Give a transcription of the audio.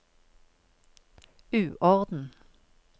uorden